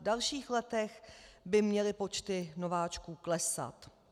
V dalších letech by měly počty nováčků klesat.